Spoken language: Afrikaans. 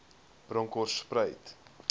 bronkhortspruit